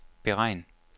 beregn